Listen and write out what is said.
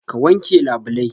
Ka wanke labulai?